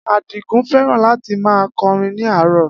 Adigun fẹ́ràn láti máa kọrin ní àárọ̀